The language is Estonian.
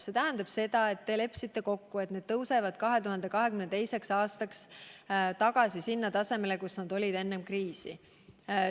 See tähendab seda, et te leppisite kokku, et aktsiisid tõusevad 2022. aastaks tagasi sellele tasemele, kus nad olid enne kriisi.